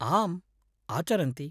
आम्, आचरन्ति।